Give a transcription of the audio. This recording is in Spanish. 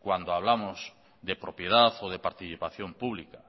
cuando hablamos de propiedad o de participación pública